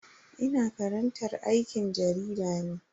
Ina karantar aikin jarida ne.